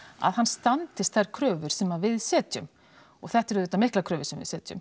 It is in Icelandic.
að hann standist þær kröfur sem við setjum og þetta eru auðvitað miklar kröfur sem við setjum